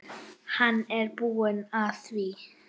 Hann er búinn að því.